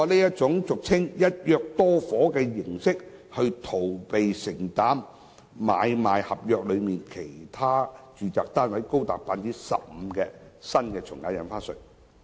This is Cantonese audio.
他通過俗稱"一約多伙"的形式，逃避承擔買賣合約內其他住宅單位高達 15% 的新從價印花稅。